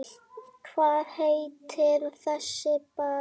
Hvað heitir þessi bær?